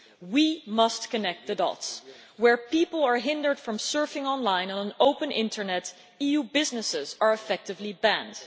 We must join the dots where people are hindered from surfing on line on an open internet, EU businesses are effectively banned.